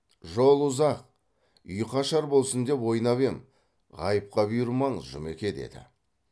жол ұзақ ұйқы ашар болсын деп ойнап ем ғайыпқа бұйырмаңыз жұмеке деді